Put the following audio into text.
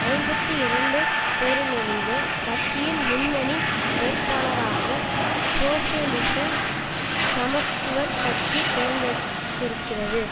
ஐம்பத்தி இரண்டு பேரிலிருந்து கட்சியின் முன்னணி வேட்பாளராக சோசியலிச சமத்துவ கட்சி தேர்ந்தெடுத்திருக்கிறது